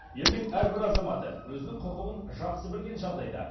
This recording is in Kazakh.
елдің әрбір азаматы өзінің құқығын жақсы білген жағдайда